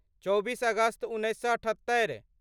चौबीस अगस्त उन्नैस सए अठत्तरि